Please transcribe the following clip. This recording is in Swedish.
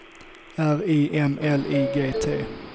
R I M L I G T